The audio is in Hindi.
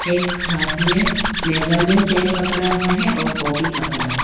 एक हाथ मे मेजरमेंट टेप पड़ा हुआ है और कॉपी पकड़ा--